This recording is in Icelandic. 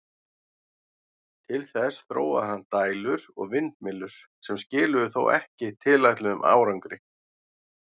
Til þess þróaði hann dælur og vindmyllur, sem skiluðu þó ekki tilætluðum árangri.